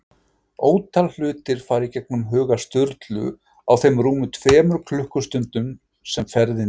Ótal hlutir fara í gegnum huga Sturlu á þeim rúmu tveimur klukkustundum sem ferðin tekur.